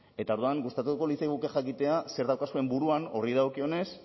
eta orduan gustatuko litzaiguke jakitea zer daukazuen buruan horri dagokionez ze